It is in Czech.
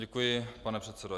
Děkuji, pane předsedo.